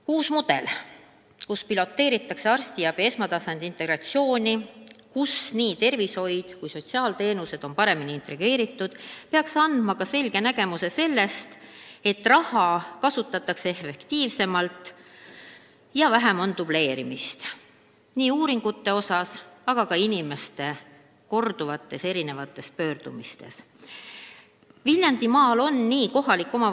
Uus mudel, millega piloteeritakse arstiabi esmatasandi integratsiooni, kus tervishoiu- ja sotsiaalteenused on paremini ühendatud, peaks andma ka selge tõestuse, et raha kasutatakse sel moel efektiivsemalt ja vähem on dubleerimist nii uuringute tegemisel kui ka inimeste pöördumistes eri arstide poole.